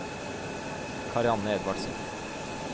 Karianne Edvardsen